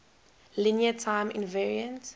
linear time invariant